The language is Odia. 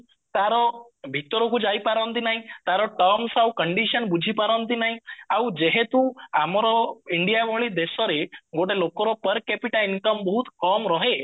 ତାର ଭିତରକୁ ଯାଇପାରନ୍ତି ନାହିଁ ତାର terms ଆଉ condition ବୁଝିପାରନ୍ତି ନାହିଁ ଆଉ ଯେହେତୁ ଆମର india ଭଳି ଦେଶରେ ଗୋଟେ ଲୋକର income ବହୁତ କମ ରହେ